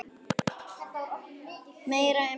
Meir um það síðar.